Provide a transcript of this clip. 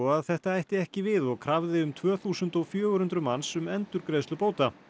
að þetta ætti ekki við og krafði um tvö þúsund og fjögur hundruð manns um endurgreiðslu bóta